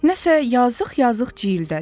Nəsə yazıq-yazıq ciyildədi.